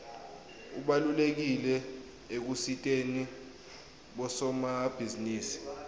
ubalulekile ekusiteni bosomabhizinisi